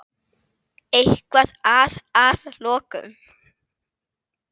Eitthvað að að lokum?